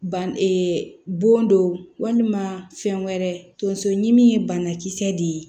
Ban bon don walima fɛn wɛrɛ tonso ɲimi ye banakisɛ de ye